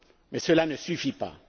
Mais cela ne suffit pas.